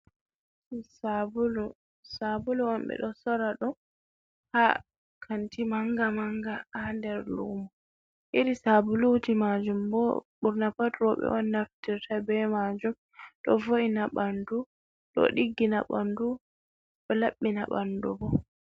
Sabulu, sabulu'on ɓeɗo soora ɗum haa kanti maanga maanga ha nder lumo. Irii sabuluuji majum bo ɓurna pat rouɓe'on naftirta bee maajum. Ɗo voo’ina ɓandu ɗo ɗiggina ɓandu ɗo labɓina ɓandu bo.